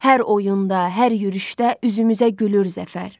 Hər oyunda, hər yürüşdə üzümüzə gülür zəfər.